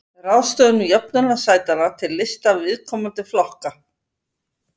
Ráðstöfun jöfnunarsætanna til lista viðkomandi flokka.